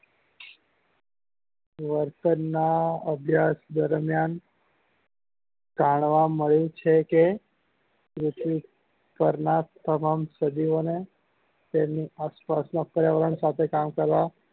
વર્તન ના અભ્યાસ દરમિયાન જાણવા મળ્યું છે કે પૃથ્વી પર ના તમામ સજીવો ને તેના આસપાસ ના પર્યાવરણ સાથે કામ કરવા